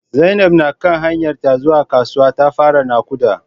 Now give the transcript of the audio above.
Zainab na kan hanyarta ta zuwa kasuwa ta fara nakuda